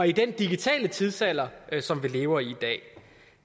i den digitale tidsalder som vi lever i i dag